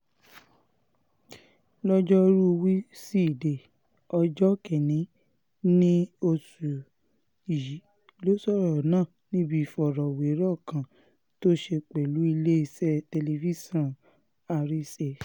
lọ́jọ́rùú wíṣídẹ̀ẹ́ ọjọ́ kìn-ín-ní oṣù yìí ló sọ̀rọ̀ náà níbi ìfọ̀rọ̀wérọ̀ kan tó ṣe pẹ̀lú iléeṣẹ́ tẹlifíṣàn àrísè